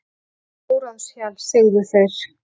Óráðshjal, segðu þeir.